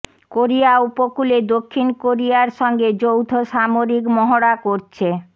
Korea উপকূলে দক্ষিণ কোরিয়ার সঙ্গে যৌথ সামরিক মহড়া করছে